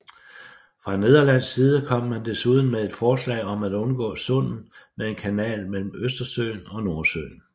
Fra nederlandsk side kom man desuden med et forslag om at undgå sundet med en kanal mellem Østersøen og Nordsøen